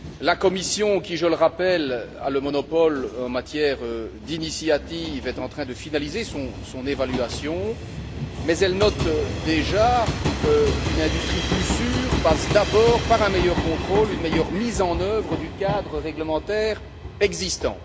La Commission qui, je le rappelle, a le monopole en matière d'initiative est en train de finaliser son évaluation, mais elle note déjà qu'une industrie plus sûre passe d'abord par un meilleur contrôle, une meilleure mise en œuvre du cadre réglementaire existant.